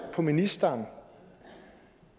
på ministeren